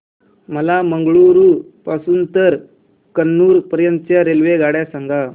मला मंगळुरू पासून तर कन्नूर पर्यंतच्या रेल्वेगाड्या सांगा